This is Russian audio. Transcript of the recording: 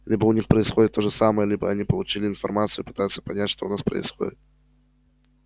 либо у них происходит то же самое либо они получили информацию и пытаются понять что у нас происходит